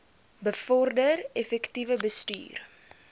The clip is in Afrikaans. bevorder effektiewe bestuur